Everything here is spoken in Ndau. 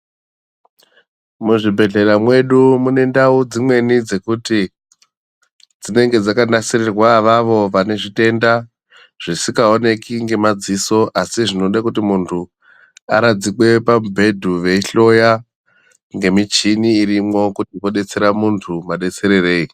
Muzvibhedhlera mwedu mune ndau dzimweni dzekuti ,dzinenge dzakanasirirwa avawo vane zvitenda, zvisikaoneki ngemadziso asi zvinode kuti muntu aradzikwe pamubhedhu veihloya, ngemichini irimwo, kuti vodetsera muntu madetsererei.